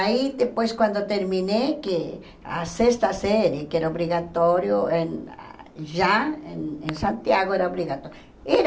Aí, depois, quando terminei que a sexta série, que era obrigatório eh já em em Santiago, era obrigatório. Era